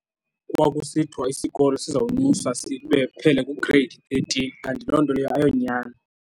Kwakusithiwa isikolo sizawunyuswa phele ku-Grade thirteen kanti loo nto leyo ayonyani.